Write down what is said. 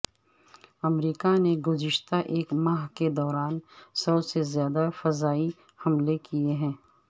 امریکہ نے گذشتہ ایک ماہ کے دوران سو سے زیادہ فضائی حملے کیے ہیں